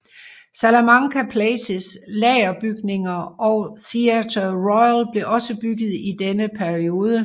Salamanca Places lagerbygninger og Theatre Royal blev også bygget i denne periode